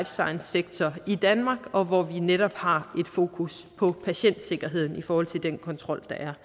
science sektor i danmark og hvor vi netop har fokus på patientsikkerheden i forhold til den kontrol der er